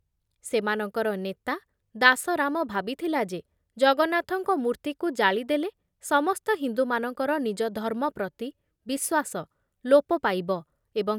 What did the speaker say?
ସେମାନଙ୍କର ନେତା ଦାସରାମ ଭାବିଥିଲା ଯେ ଜଗନ୍ନାଥଙ୍କ ମୂର୍ତ୍ତିକୁ ଜାଳି ଦେଲେ ସମସ୍ତ ହିନ୍ଦୁମାନଙ୍କର ନିଜ ଧର୍ମ ପ୍ରତି ବିଶ୍ୱାସ ଲୋପ ପାଇବ ଏବଂ.